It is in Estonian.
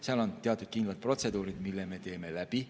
Seal on teatud kindlad protseduurid, mis me läbi teeme.